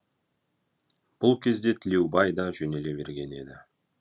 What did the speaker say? бұл кезде тілеубай да жөнеле берген еді